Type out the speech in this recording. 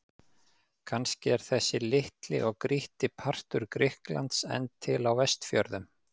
Kannski er þessi litli og grýtti partur Grikklands enn til á Vestfjörðum.